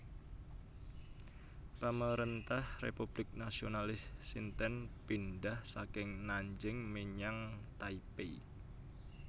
Pamarèntah Republik Nasionalis Cinten pindhah saking Nanjing menyang Taipei